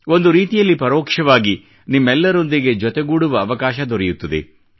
ಒಂದು ರೀತಿಯಲ್ಲಿ ಪರೋಕ್ಷವಾಗಿ ನಿಮ್ಮೆಲ್ಲರೊಂದಿಗೆ ಸೇರುವ ಅವಕಾಶ ದೊರೆಯುತ್ತದೆ